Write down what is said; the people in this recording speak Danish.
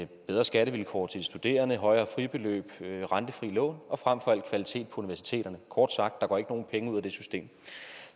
bedre skattevilkår for de studerende højere fribeløb rentefri lån og frem for alt kvalitet på universiteterne kort sagt der går ikke nogen penge ud af det system